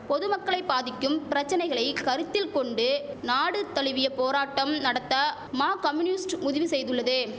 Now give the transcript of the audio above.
பொதுமக்களை பாதிக்கும் பிரச்சனைகளை கருத்தில் கொண்டு நாடு தழுவிய போராட்டம் நடத்த மா கமுனுஸ்ட் முதிவு செய்துள்ளது